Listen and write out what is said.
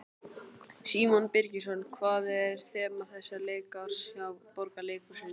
Símon Birgisson: Hvað er þema þessa leikárs hjá Borgarleikhúsinu?